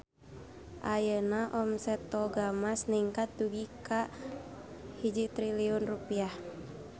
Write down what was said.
Ayeuna omset Toga Mas ningkat dugi ka 1 triliun rupiah